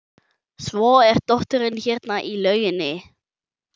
Svo er dóttirin hérna í lauginni.